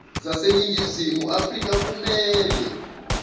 zaseningizimu afrika kumele